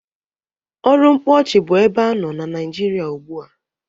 Ọrụ mkpọọchị bụ ebe anọ na Nịajịrịa ugbụ a.